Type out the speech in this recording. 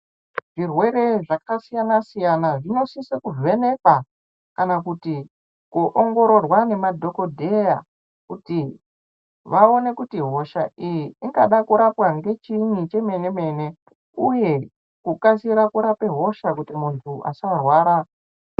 Zvirwere zvakasiyana-siyana zvinosise kuvhenekwa kana kuti kuongororwa nemadhokodheya kuti vaone kuti hosha iyi ingade kurapwa ngechiinyi chemene-mene iye kukasire kurape hosha kuti munhu asarwara.